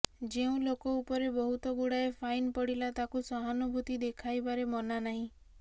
ଯେଉଁ ଲୋକ ଉପରେ ବହୁତ ଗୁଡ଼ାଏ ଫାଇନ ପଡ଼ିଲା ତାକୁ ସହାନୁଭୂତି ଦେଖାଇବାରେ ମନା ନାହିଁ